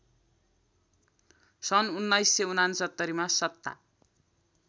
सन् १९६९मा सत्ता